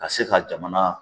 Ka se ka jamana